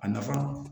A nafa